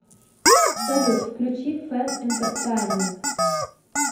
салют включи фэн энтертайнмент